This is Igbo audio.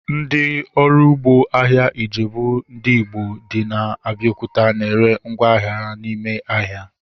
Ndị ọrụ ugbo ahịa Ijebu ndị Igbo dị na Abiokuta na ere ngwá ahịa ha n'ime ahịa